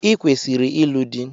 I kwesiri ịlụ di!